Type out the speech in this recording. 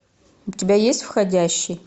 у тебя есть входящий